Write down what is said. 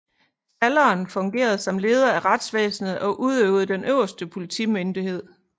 Stalleren fungerede her som leder af retsvæsenet og udøvede den øverste politimyndighed